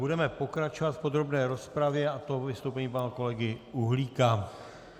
Budeme pokračovat v podrobné rozpravě, a to vystoupením pana kolegy Uhlíka.